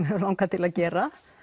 hefur langað til að gera